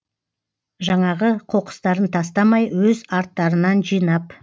жаңағы қоқыстарын тастамай өз арттарынан жинап